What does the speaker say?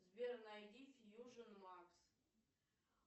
сбер найди фьюжн макс